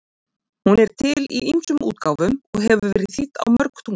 Hún er til í ýmsum útgáfum og hefur verið þýdd á mörg tungumál.